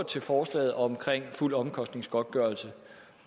til forslaget om fuld omkostningsgodtgørelse